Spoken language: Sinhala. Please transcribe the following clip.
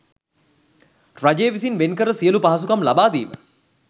රජය විසින් වෙන් කර සියලු පහසුකම් ලබා දීම